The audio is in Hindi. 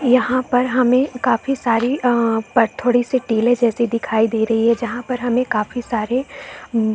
यहाँ पर हमे काफी सारी आ पर थोड़ी सी टेले जैसी दिखाई दे रहै है जहां पर हमें काफी सारे--